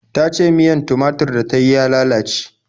Ta ce miyar tumatur da ta yi ya lalace.